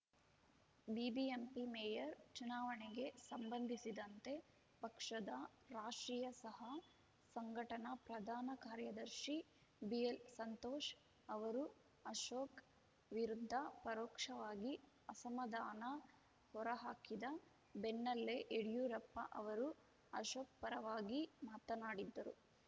BBMP mayor ಚುನಾವಣೆಗೆ ಸಂಬಂಧಿಸಿದಂತೆ ಪಕ್ಷದ ರಾಷ್ಟ್ರೀಯ ಸಹ ಸಂಘಟನಾ ಪ್ರಧಾನ ಕಾರ್ಯದರ್ಶಿ ಬಿಎಲ್‌ಸಂತೋಷ್‌ ಅವರು ಅಶೋಕ್‌ ವಿರುದ್ಧ ಪರೋಕ್ಷವಾಗಿ ಅಸಮಾಧಾನ ಹೊರಹಾಕಿದ ಬೆನ್ನಲ್ಲೇ ಯಡಿಯೂರಪ್ಪ ಅವರು ಅಶೋಕ್‌ ಪರವಾಗಿ ಮಾತನಾಡಿದ್ದರು